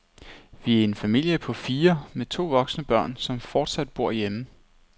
Vi er en familie på fire med to voksne børn, som fortsat bor hjemme.